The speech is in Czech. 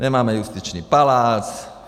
Nemáme justiční palác.